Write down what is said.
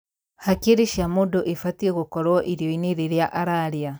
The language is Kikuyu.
Hakiri cia mũndũ ibatiĩ gũkorwo irio-inĩ rĩrĩa ararĩa